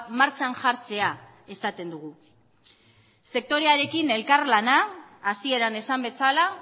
martxan jartzea esaten dugu sektorearekin elkarlana hasieran esan bezala